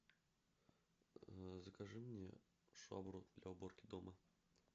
закажи мне швабру для уборки дома